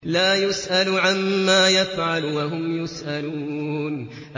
لَا يُسْأَلُ عَمَّا يَفْعَلُ وَهُمْ يُسْأَلُونَ